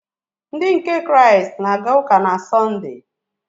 Ndị nke Kraịst na-aga ụka na Sọnde.